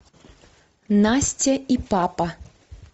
настя и папа